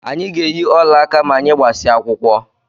Anyị ga-eyi olaaka ma anyị gbasịa akwụkwọ